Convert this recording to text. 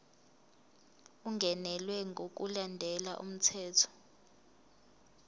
ungenelwe ngokulandela umthetho